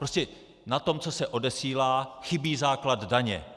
Prostě na tom, co se odesílá, chybí základ daně.